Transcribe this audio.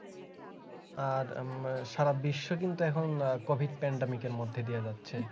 আর আহ সারা বিশ্ব কিন্তু এখন আহ COVIDPandemic এর মধ্যে দিয়ে যাচ্ছে